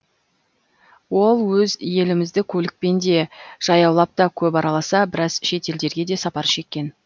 ол өз елімізді көлікпен де жаяулап та көп араласа біраз шет елдерге де сапар шеккен